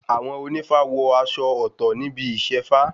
Àwọn ònífá wọ aṣọ ọ̀tọ̀ níbi Ìṣefá